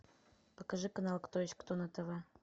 покажи канал кто есть кто на тв